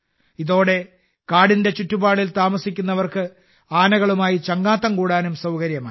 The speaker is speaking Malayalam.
ഇതോടെ കാടിന്റെ ചുറ്റുപാടിൽ താമസിക്കുന്നവർക്ക് ആനകലുമായി ചങ്ങാത്തം കൂടാനും സൌകര്യമായി